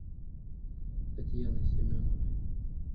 татьяны семеновой